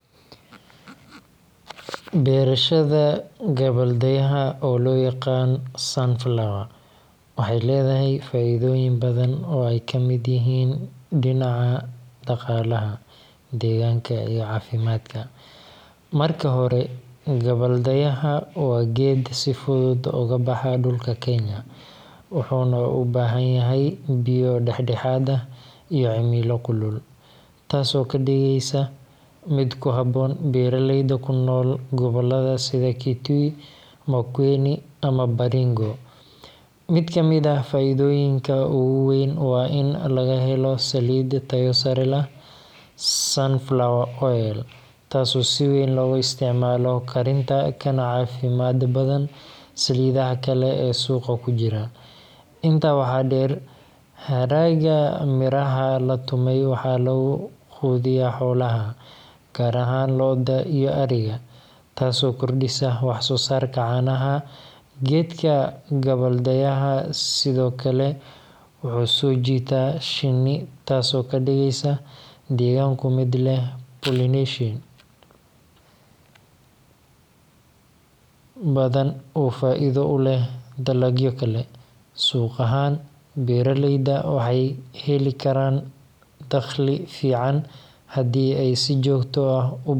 Beerashada gabbaldayaha, oo loo yaqaan sunflower, waxay leedahay faa’iidooyin badan oo ay ka mid yihiin dhinaca dhaqaalaha, deegaanka, iyo caafimaadka. Marka hore, gabbaldayaha waa geed si fudud uga baxa dhulka Kenya, wuxuuna u baahan yahay biyo dhexdhexaad ah iyo cimilo kulul – taasoo ka dhigeysa mid ku habboon beeraleyda ku nool gobollada sida Kitui, Makueni, ama Baringo. Mid ka mid ah faa’iidooyinka ugu weyn waa in laga helo saliid tayo sare leh – sunflower oil – taasoo si weyn loogu isticmaalo karinta, kana caafimaad badan saliidaha kale ee suuqa ku jira. Intaa waxaa dheer, hadhaaga miraha la tumay waxaa lagu quudiyaa xoolaha, gaar ahaan lo’da iyo ariga, taasoo kordhisa wax-soo-saarka caanaha. Geedka gabbaldayaha sidoo kale wuxuu soo jiitaa shinni, taasoo ka dhigaysa deegaanku mid leh pollination badan oo faa’iido u leh dalagyo kale. Suuq ahaan, beeraleyda waxay heli karaan dakhli fiican haddii ay si joogto.